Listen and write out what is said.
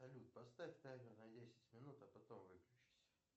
салют поставь таймер на десять минут а потом выключись